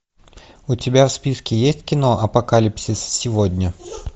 у тебя в списке есть кино апокалипсис сегодня